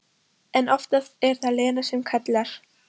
En oftast er það Lena sem kallar.